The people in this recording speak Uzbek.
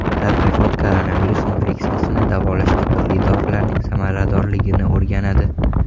Tadqiqot koronavirus infeksiyasini davolashda turli dorilarning samaradorligini o‘rganadi.